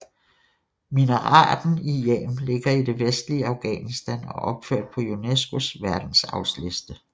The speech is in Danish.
Minareten i Jam ligger i det vestlige Afghanistan og er opført på UNESCOs verdensarvsliste